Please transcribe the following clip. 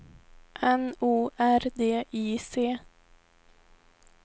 N O R D I C